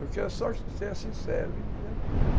Eu quero só que tu seja sincero e verdadeiro.